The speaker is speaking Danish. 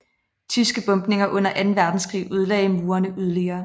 Tyske bombninger under anden verdenskrig ødelagde murene yderligere